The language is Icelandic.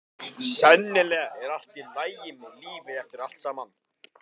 Sennilega er allt í lagi með lífið eftir allt saman.